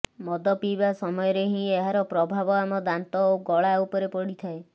ମଦ ପିଇବା ସମୟରେ ହିଁ ଏହାର ପ୍ରଭାବ ଆମ ଦାନ୍ତ ଓ ଗଳା ଉପରେ ପଡିଥାଏ